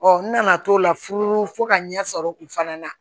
n nana t'o la furu fo ka ɲɛ sɔrɔ u fana na